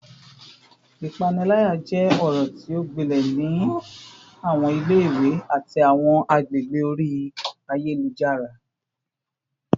Ipanilaya jẹ ọrọ ti o gbilẹ ni awọn ile-iwe ati awọn agbegbe ori ayelujara